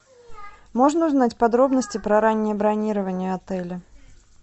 можно узнать подробности про раннее бронирование отеля